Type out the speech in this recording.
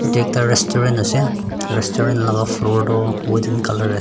etu ekta restaurant ase restaurant la floor toh wooden colour ase.